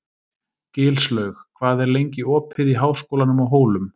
Gilslaug, hvað er lengi opið í Háskólanum á Hólum?